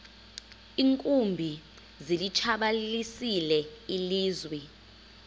iinkumbi zilitshabalalisile ilizwe